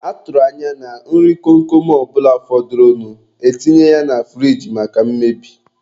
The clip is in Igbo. A tụrụ anya na nri kom kom ọ bụla fọdụrụnụ, e tinye ya na furige maka mmebi.